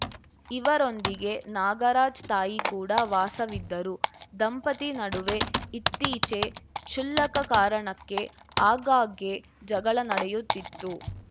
ಇವರೊಂದಿಗೆ ನಾಗರಾಜ್‌ ತಾಯಿ ಕೂಡ ವಾಸವಿದ್ದರು ದಂಪತಿ ನಡುವೆ ಇತ್ತೀಚೆ ಕ್ಷುಲ್ಲಕ ಕಾರಣಕ್ಕೆ ಆಗ್ಗಾಗ್ಗೆ ಜಗಳ ನಡೆಯುತ್ತಿತ್ತು